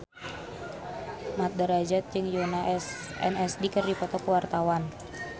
Mat Drajat jeung Yoona SNSD keur dipoto ku wartawan